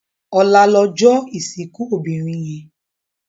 Òlá lòjò isinkú óbirin yèn